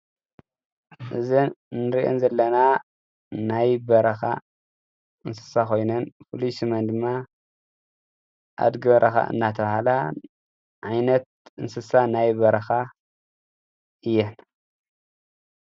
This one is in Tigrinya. እዘን እንሪእን ዘለና ናይ በረኻ እንስሳ ኮይነን ፍሉይ ስመን ድማ ኣድጊ በረኻ እናተብሃላ ዓይነት እንስሳ ናይ በረኻ እየን።